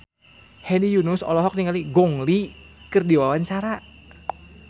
Hedi Yunus olohok ningali Gong Li keur diwawancara